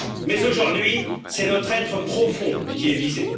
Mais aujourd'hui, c'est notre être profond qui est visé.